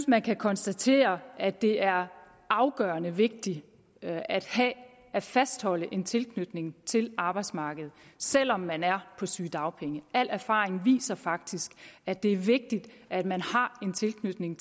man kan konstatere at det er afgørende vigtigt at fastholde en tilknytning til arbejdsmarkedet selv om man er på sygedagpenge al erfaring viser faktisk at det er vigtigt at man har en tilknytning